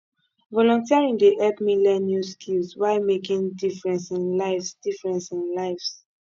volunteering dey help me learn new skills while making difference in lives difference in lives